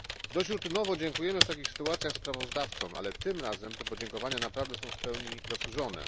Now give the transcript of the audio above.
Dość rutynowo dziękujemy w takich sytuacjach sprawozdawcom, ale tym razem te podziękowania naprawdę są w pełni zasłużone.